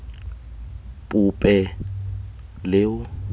pope leo